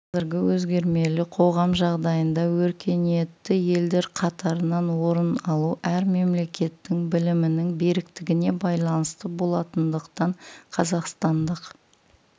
қазіргі өзгермелі қоғам жағдайында өркениетті елдер қатарынан орын алу әр мемлекеттің білімінің беріктігіне байланысты болатындықтан қазақстандық